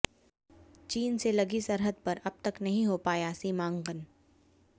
चीन से लगी सरहद पर अब तक नहीं हो पाया सीमांकन